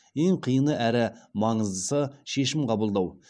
ең қиыны әрі маңыздысы шешім қабылдау